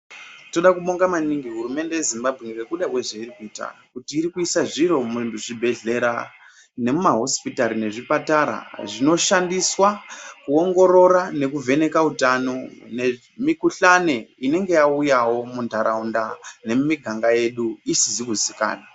Toda kubonga maningi hurumende ye Zimbabwe ngekuda kwe zvairi kuita kuti iri kuisa zviro mu zvibhedhlera ne muma hosipitari nemu zvipatara zvino shandiswa kuongorora neku vheneka utano ne mu kuhlani inenge yauya mundaraunda mwedu ne mimiganga yedu isizi ku zikanwa.